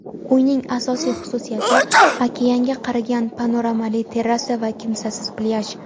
Uyning asosiy xususiyati - okeanga qaragan panoramali terrasa va kimsasiz plyaj.